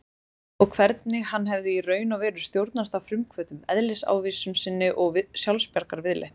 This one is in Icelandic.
Og hvernig hann hefði í raun og veru stjórnast af frumhvötum, eðlisávísun sinni og sjálfsbjargarviðleitni.